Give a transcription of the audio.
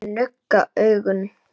Ég nugga augun.